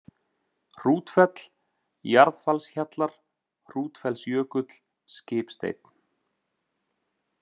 Hrútfell, Jarðfallshjallar, Hrútfellsjökull, Skipsteinn